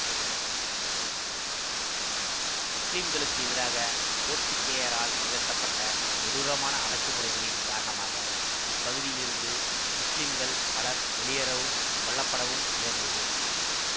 முஸ்லிம்களுக்கு எதிராக போர்த்துக்கேயரால் நிகழ்த்தப்பட்ட கொடூரமான அடக்குமுறைகளின் காரணமாக இப்பகுதியிலிருந்து முஸ்லிம்கள் பலர் வெளியேறவும் கொல்லப்படவும் நேர்ந்தது